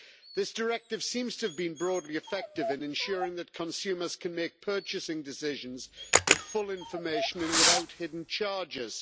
This directive seems to have been broadly effective in ensuring that consumers can make purchasing decisions with full information and without hidden charges.